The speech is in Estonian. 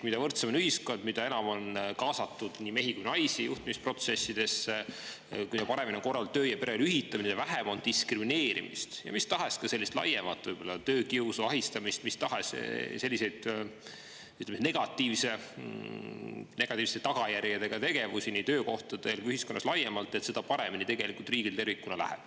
Mida võrdsem on ühiskond, mida enam on kaasatud nii mehi kui ka naisi juhtimisprotsessidesse, mida paremini on korraldatud töö‑ ja pereelu ühitamine ja mida vähem on diskrimineerimist ja mis tahes laiemat töökiusu, ahistamist, mis tahes selliseid negatiivsete tagajärgedega tegevusi nii töökohtadel kui ka ühiskonnas laiemalt, seda paremini tegelikult riigil tervikuna läheb.